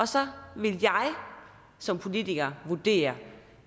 så vil jeg som politiker vurdere